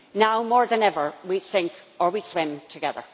Now, more than ever, we sink or we swim together.